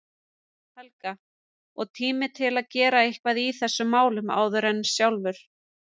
Helga, og tími til að gera eitthvað í þessum málum áður en sjálfur